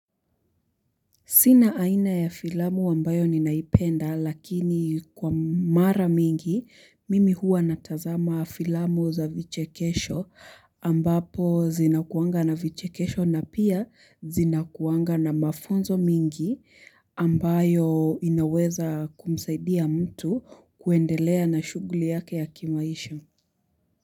Sina aina ya filamu ambayo ninaipenda lakini kwa mara mingi mimi hua natazama filamu za vichekesho ambapo zinakuaga na vichekesho na pia zinakuaga na mafunzo mengi ambayo inaweza kumsaidia mtu kuendelea na shughuli yake ya kimaisha.